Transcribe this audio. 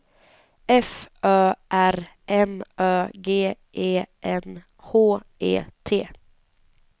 F Ö R M Ö G E N H E T